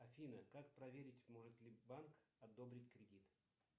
афина как проверить может ли банк одобрить кредит